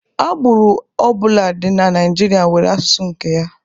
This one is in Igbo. Agbụrụ ọ bụla dị na Naịjirịa nwere asụsụ nke ya.